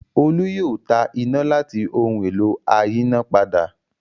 Olú yóò ta iná láti ohun-èlò ayínápadà.